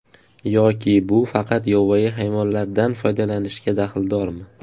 Yoki bu faqat yovvoyi hayvonlardan foydalanishga daxldormi?